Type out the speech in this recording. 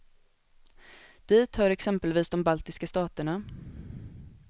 Dit hör exempelvis de baltiska staterna.